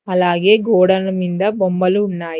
అలాగే గోడల మింద బొమ్మలు ఉన్నాయి.